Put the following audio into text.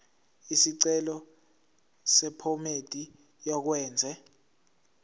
isicelo sephomedi yokwenze